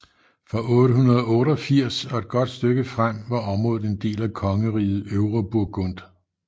Fra 888 og et godt stykke frem var området en del af kongeriget Øvre Burgund